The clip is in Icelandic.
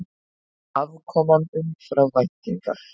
Afkoman umfram væntingar